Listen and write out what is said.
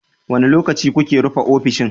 Wane lokaci kuke rufe ofishin?